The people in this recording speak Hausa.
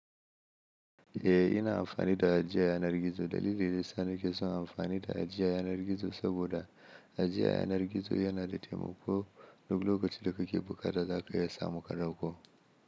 Eh ina amfani da ajiya yanar gizo. Dalili da ya sa na ke son amfani da ajiya yanar gizo saboda ajiya yanar gizo yana da taimako duk lokacin da kake buƙatar zaka iya samu ka dauko.